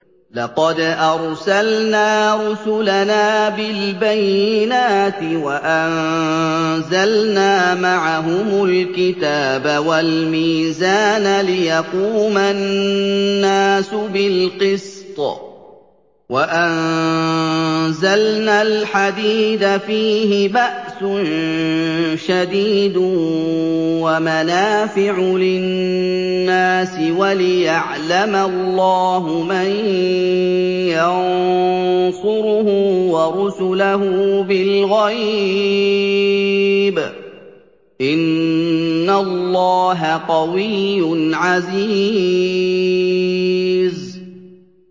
لَقَدْ أَرْسَلْنَا رُسُلَنَا بِالْبَيِّنَاتِ وَأَنزَلْنَا مَعَهُمُ الْكِتَابَ وَالْمِيزَانَ لِيَقُومَ النَّاسُ بِالْقِسْطِ ۖ وَأَنزَلْنَا الْحَدِيدَ فِيهِ بَأْسٌ شَدِيدٌ وَمَنَافِعُ لِلنَّاسِ وَلِيَعْلَمَ اللَّهُ مَن يَنصُرُهُ وَرُسُلَهُ بِالْغَيْبِ ۚ إِنَّ اللَّهَ قَوِيٌّ عَزِيزٌ